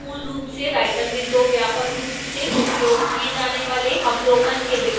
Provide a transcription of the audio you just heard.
यहां मूल रूप से writer में दो व्यापक रूप से उपयोग किए जाने वाले अवलोकन के विकल्प हैं